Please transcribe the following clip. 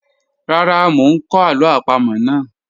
Rara, mo n kọ alo apamo naa.